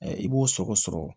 i b'o sɔgɔ sɔgɔ